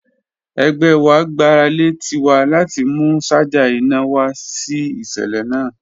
Ẹgbẹ wa gbarale Tiwa lati mu ṣaja ina wa si iṣẹlẹ naa